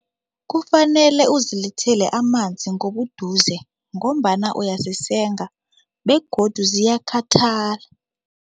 Kufanele uzilethele amanzi ngobuduze ngombana uyazisenga begodu ziyakhathala.